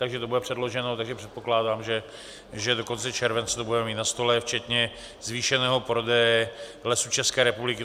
Takže to bude předloženo a předpokládám, že do konce července to budeme mít na stole včetně zvýšeného prodeje Lesů České republiky.